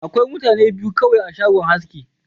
Akwai mutane biyu kawai a shagon aski.